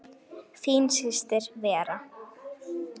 Þín systir Vera.